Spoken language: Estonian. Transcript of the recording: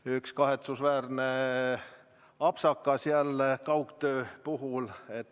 Jah, üks kahetsusväärne apsakas jälle kaugtöö puhul.